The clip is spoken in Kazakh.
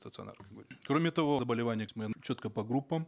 стационар кроме того заболевания четко по группам